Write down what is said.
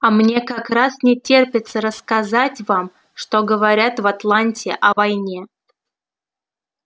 а мне как раз не терпится рассказать вам что говорят в атланте о войне